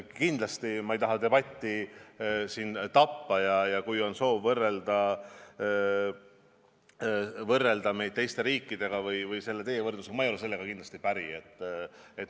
Kindlasti ma ei taha debatti tappa, aga kui on soov võrrelda meid teiste riikidega niimoodi, siis ma ei ole sellega kindlasti päri.